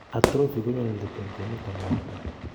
Atrophy konyone let eng, kwenut ab miondo